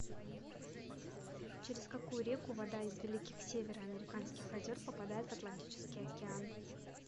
через какую реку вода из великих североамериканских озер попадает в атлантический океан